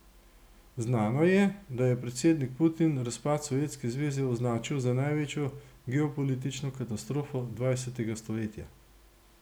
Znano je, da je predsednik Putin razpad Sovjetske zveze označil za največjo geopolitično katastrofo dvajsetega stoletja.